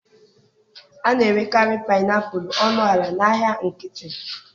A na-erekarị painiapulu ọnụ ala n'ahịa nkịtị.